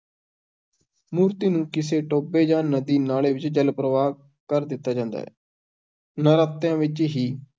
ਮੂਰਤੀ ਨੂੰ ਕਿਸੇ ਟੋਭੇ ਜਾਂ ਨਦੀ-ਨਾਲੇ ਵਿੱਚ, ਜਲ-ਪ੍ਰਵਾਹ ਕਰ ਦਿੱਤਾ ਜਾਂਦਾ ਹੈ, ਨਰਾਤਿਆਂ ਵਿੱਚ ਹੀ